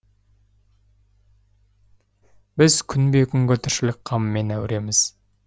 біз күнбе күнгі тіршілік қамымен әуреміз